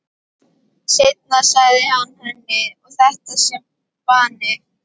Seinna segir hann henni að þetta sé vani.